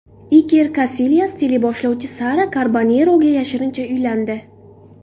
Iker Kasilyas teleboshlovchi Sara Karboneroga yashirincha uylandi.